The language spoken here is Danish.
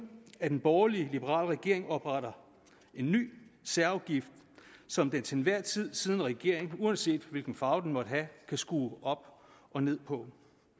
at en borgerlig liberal regering opretter en ny særafgift som den til enhver tid siddende regering uanset hvilken farve den måtte have kan skrue op og ned på